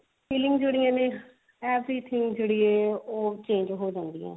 feeling ਜਿਹੜੀਆਂ ਨੇ habit ਜਿਹੜੀ ਹੈ ਉਹ change ਹੋ ਜਾਂਦੀਆਂ